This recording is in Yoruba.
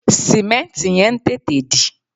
Sìmẹ́ǹtì yẹn ń tètè dì